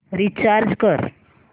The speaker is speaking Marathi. रीचार्ज कर